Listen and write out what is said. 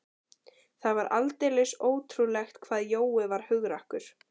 Það var aldeilis ótrúlegt hvað Jói var hugrakkur.